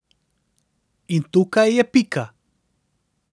In tukaj je pika.